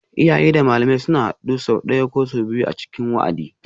Iyaye da malamai suna haduwa sau ɗaya ko sau biyu a cikin wa'adi